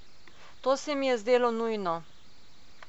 To se mi je zdelo nujno.